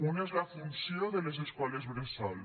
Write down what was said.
un és la funció de les escoles bressol